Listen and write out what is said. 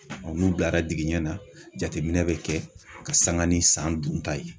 Ɔ n'u dara digiɲɛn na jateminɛ be kɛ ka sanga ni san dun ta ye